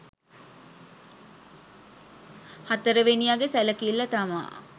හතරවෙනියගෙ සැලකිල්ල තමා